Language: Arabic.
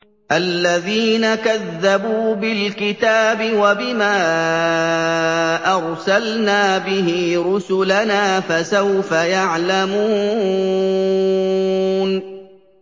الَّذِينَ كَذَّبُوا بِالْكِتَابِ وَبِمَا أَرْسَلْنَا بِهِ رُسُلَنَا ۖ فَسَوْفَ يَعْلَمُونَ